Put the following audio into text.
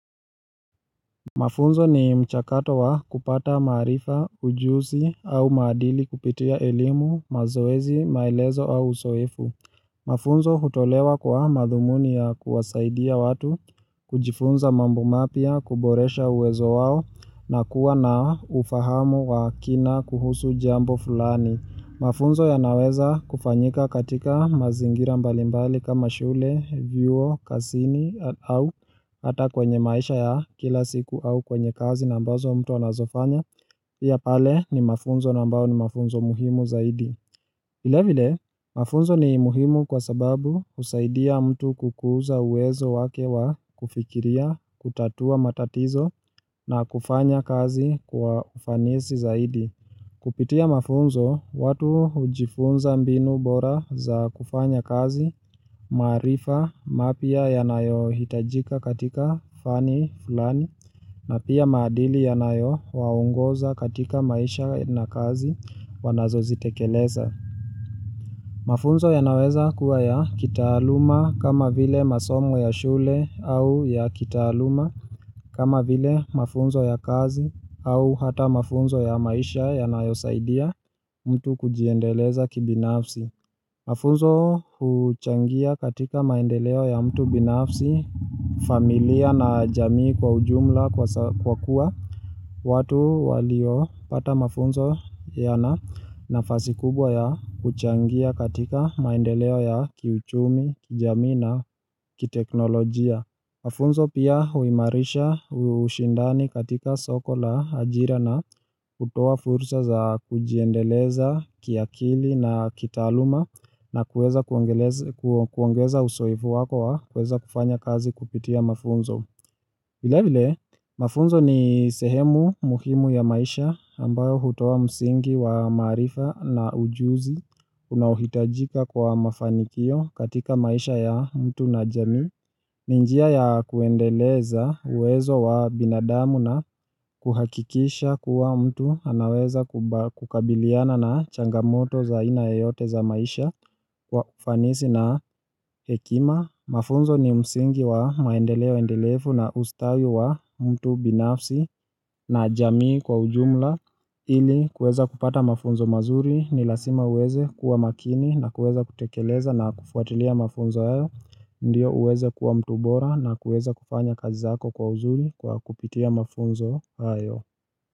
Mafunzo ni mchakato wa kupata maarifa, ujuzi au maadili kupitia elimu, mazoezi, maelezo au uzoefu. Mafunzo hutolewa kwa madhumuni ya kuwasaidia watu, kujifunza mambo mapya, kuboresha uwezo wao, na kuwa na ufahamu wa kina kuhusu jambo fulani. Mafunzo yanaweza kufanyika katika mazingira mbalimbali kama shule, vyuo, kazini au hata kwenye maisha ya kila siku au kwenye kazi na ambazo mtu anazofanya pia pale ni mafunzo na ambayo ni mafunzo muhimu zaidi vilevile mafunzo ni muhimu kwa sababu husaidia mtu kukuza uwezo wake wa kufikiria, kutatua matatizo na kufanya kazi kwa ufanisi zaidi Kupitia mafunzo watu hujifunza mbinu bora za kufanya kazi, maarifa mapya yanayo hitajika katika fani fulani na pia maadili yanayo waongoza katika maisha na kazi wanazo zitekeleza. Mafunzo yanaweza kuwa ya kitaaluma kama vile masomo ya shule au ya kitaaluma kama vile mafunzo ya kazi au hata mafunzo ya maisha yanayosaidia mtu kujiendeleza kibinafsi. Mafunzo huchangia katika maendeleo ya mtu binafsi, familia na jamii kwa ujumla kwa kuwa, watu waliopata mafunzo yana nafasi kubwa ya kuchangia katika maendeleo ya kiuchumi, jamii na kiteknolojia. Mafunzo pia huimarisha ushindani katika soko la ajira na hutoa furusa za kujiendeleza kiakili na kitaluma na kuweza kuongeza uzoefu wako wa kueza kufanya kazi kupitia mafunzo. Vilevile, mafunzo ni sehemu muhimu ya maisha ambayo hutoa msingi wa maarifa na ujuzi unaohitajika kwa mafanikio katika maisha ya mtu na jamii. Ni njia ya kuendeleza uwezo wa binadamu na kuhakikisha kuwa mtu anaweza kukabiliana na changamoto za aina yeyote za maisha kwa ufanisi na hekima. Mafunzo ni msingi wa maendeleo endelefu na ustawi wa mtu binafsi na jamii kwa ujumla ili kuweza kupata mafunzo mazuri ni lazima uweze kuwa makini na kuweza kutekeleza na kufuatilia mafunzo hayo Ndiyo uweze kuwa mtu bora na kuweza kufanya kazi zako kwa uzuri kwa kupitia mafunzo hayo.